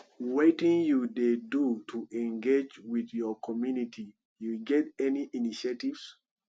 wetin you dey do to engage with your community you get any initiatives